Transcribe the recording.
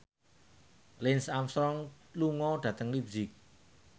Lance Armstrong lunga dhateng leipzig